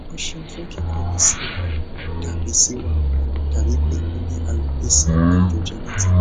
o ṣeun fun kikọwe si wao dabi si wao dabi pe o ni alopecia androgenetic